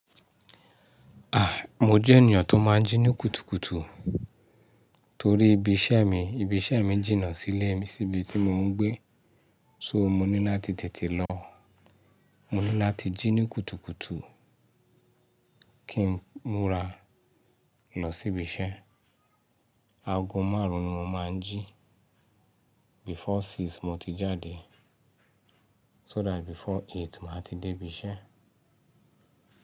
Ah! Mo jẹ́ ènìyàn tó máa ń jí ní kùtùkùtù torí ibi iṣẹ́ mi. Ibi iṣẹ́ mi jìnnà sílé mi síbi tí mo ń gbé. So mo ní láti tètè lọ. Mo ní láti jí ní kùtùkùtù kí n múra lọ sí ibi iṣẹ́. Aago márùn-ún ni mo máa ń jí. Before six mo ti jáde so that before eight màá ti dé ibi iṣẹ́.